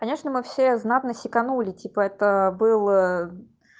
конечно мы все знатно сиканули типа это был